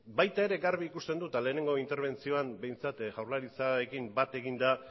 baita argi ikusten dut ere eta lehenengo interbentzioan behintzat jaurlaritzarekin bat eginda